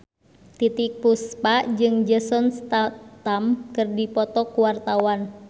Titiek Puspa jeung Jason Statham keur dipoto ku wartawan